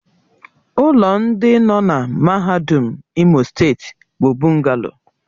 Ụlọ ndị nọ na mahadum Imo steeti bụ bụngalo